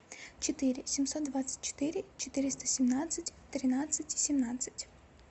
четыре семьсот двадцать четыре четыреста семнадцать тринадцать семнадцать